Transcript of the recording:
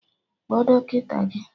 Kpọọ dọkịta gị!